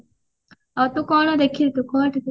ଆଉ ତୁ କଣ ଦେଖିଚୁ କହ ଟିକେ